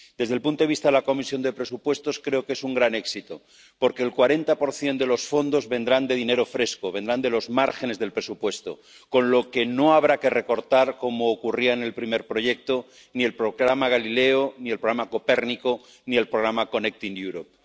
Desde el punto de vista de la Comisión de Presupuestos, creo que es un gran éxito, porque el 40 de los fondos vendrá de dinero fresco, vendrá de los márgenes del presupuesto, con lo que no habrá que recortar ―como ocurría en el primer proyecto― ni el programa Galileo ni el programa Copérnico ni el Mecanismo Conectar Europa.